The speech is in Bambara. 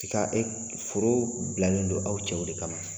I ka e foro bilalen don aw cɛw de kama ma?